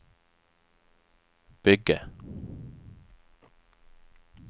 bygge